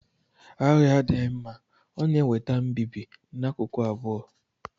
Agha adịghị mma; ọ na-eweta mbibi n'akụkụ abụọ.